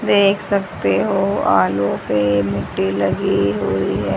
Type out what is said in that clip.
देख सकते हो आलू पे मिट्टी लगी हुई है।